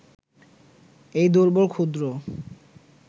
এই দুর্বল, ক্ষুদ্র